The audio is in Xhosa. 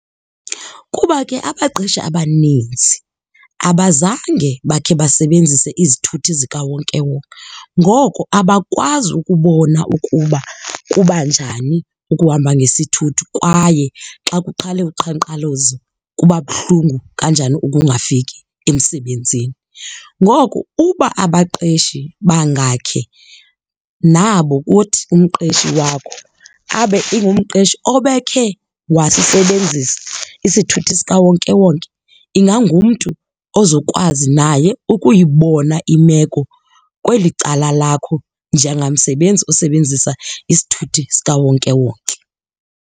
Kuba ke abaqeshi abanintsi abazange bakhe basebenzise izithuthi zikawonkewonke. Ngoko abakwazi ukubona ukuba kuba njani ukuhamba ngesithuthi kwaye xa kuqale uqhankqalazo kuba buhlungu kanjani ukungafiki emsebenzini. Ngoku uba abaqeshi bangakhe nabo kuthi umqeshi wakho abe ingumqeshi obekhe wasisebenzisa isithuthi sikawonkewonke ingangumntu ozokwazi naye ukuyibona imeko kweli cala lakho njengamsebenzi osebenzisa isithuthi sikawonkewonke.